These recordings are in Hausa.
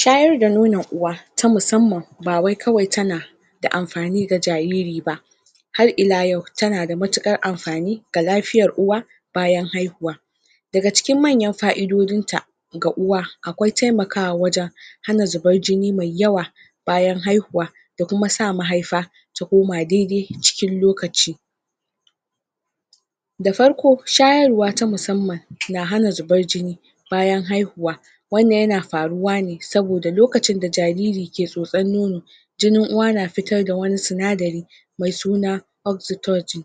shayar da nonon uwa ta musamman bawai kawai tana amfani ga jariri ba har ila yau tana da matukar amfani ga lafiyar uwa bayan haihuwa daga cikin manyan fa'idojinta ga uwa akwai temakawa wajan hana zubar jini mai yawa bayan haihuwa da kuma sa mahaifa ta koma dai-dai cikin lokaci shayarwa ta musamman na hana zubar jini bayan haihuwa wannan yana faruwa ne lokacin da jariri ke tso-tsan nono jinin uwa na fitar da wani sinadari mai suna oksutoji [oxitoge]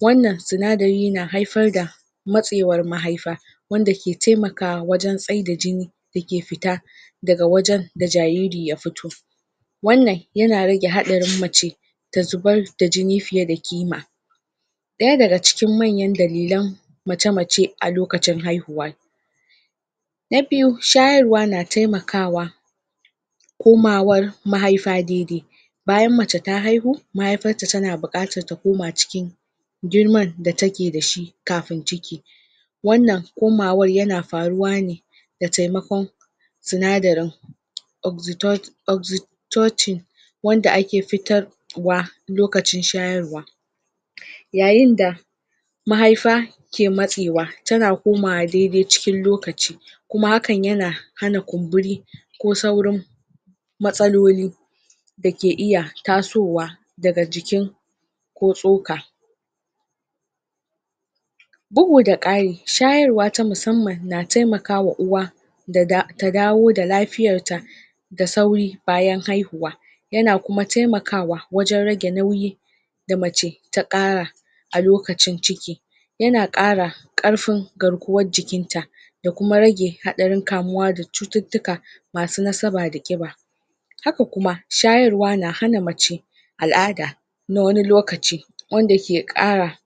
wannan sinadari na haifar da matsaiwar mahaifa wanda ke temakawa wajan tsaida jini da ke fita daga wajan da jariri ya fiyo wannan yana rage hadarin mace ta zubar da jini fiye da kima daya daga cikin manyan dalilen mace-macen a lokacin haihuwa na biyu shayarwa na temakawa komawar mahaifa daidai bayan mace ta haihu mahaifarta tana bukatar ta koma cikin girman da take da shi kafin ciki wannan komawar yana faruwa ne da temakon sinadarin oksito oksitoti wanda ake fitarwa lokacin shayarwa yayin da mahaifa ke matsaiwa tana komawa dai-dai cikin lokaci kuma hakan yana hana kumburi ko saurin matsaloli da ke iya tasowa daga jiki ko tsoka bugu da kari shayarwa ta musamman na temakawa uwa ta dawo da lafiyar ta da sauri bayan haihuwa yana kuma taimakawa wajan rage nauyi da mace ta kara a lokacin ciki yana kara karfin garkuwan jikinta da kuma rage hadarin kamuwa da cututtuka masu nasaba da kiba haka kuma shayarwa na hana mace al'ada na wani lokaci wanda ke kara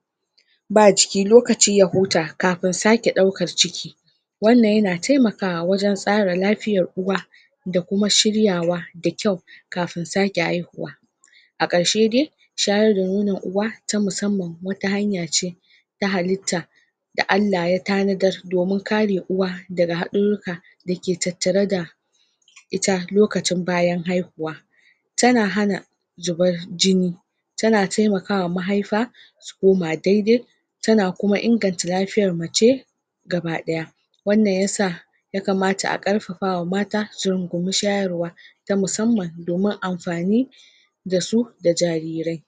ba jiki lokaci ya huta kafin sake daukar ciki wannan yana temakawa wajan tsara lafiyan uwa da kuma shiryawa da kyau kafin sake haihuwa a karshe dai shayar da nonon uwa ta musannan wata hanya ce ta halitta da Allah ya tanadar domin kare uwa daga hadururruka da ke tattare da ita lokacin bayan haihuwa tana hana zubar jpnp tana taimakawa mahaifa su koma dai-dai tana kuma inganta lafiyar mace ga badaya wannan ya sa a karfafawa mata su runguma shayarwa ta musamman domin amfani da su da jarire